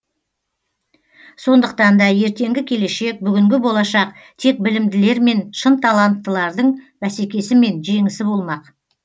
сондықтан да ертеңгі келешек бүгінгі болашақ тек білімділермен шын таланттылардың бәсекесімен жеңісі болмақ